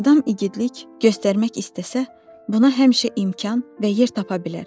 Adam igidlik göstərmək istəsə, buna həmişə imkan və yer tapa bilər.